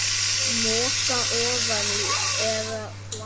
Moka ofan í eða planta?